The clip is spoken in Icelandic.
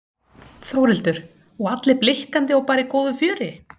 Þórhildur: Og allir blikkandi og bara í góðu fjöri?